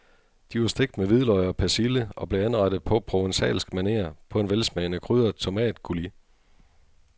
De var stegt med hvidløg og persille og blev anrettet på provencalsk maner på en velsmagende krydret tomatcoulis.